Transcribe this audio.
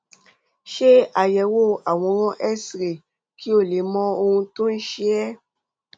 ṣe àyẹwò àwòrán xray kí o lè mọ ohun tó ń ṣe é